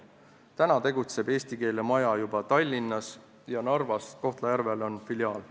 Täna tegutseb eesti keele maja juba Tallinnas ja Narvas, Kohtla-Järvel on filiaal.